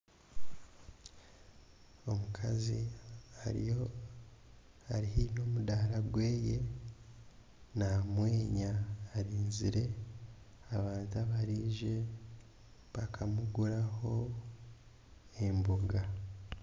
Omukazi ariyo ari haihi n'omudaara gwe, naamwenya arinzire abantu abaraije bakamuguraho emboga.